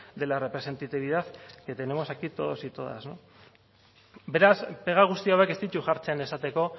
de la representatividad que tenemos aquí todos y todas beraz pega guzti hauek ez ditu jartzen esateko